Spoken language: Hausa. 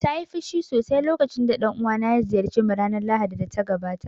Ta yi fushi sosai lokacin da dan uwana ya ziyarce mu ranar Lahadi da ta gabata